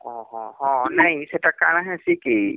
ଓହଃ ନାଇଁ ହେଟା କାଣା ହେସି କି